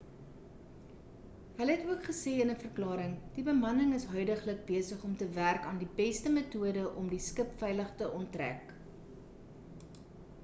hulle het ook gesê in 'n verklaring die bemanning is huidiglik besig om te werk aan die beste metode om die skip veilig te onttrek